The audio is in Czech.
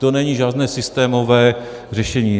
To není žádné systémové řešení.